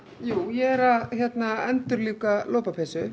ég er að endurlífga lopapeysu